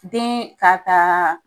Den ka taa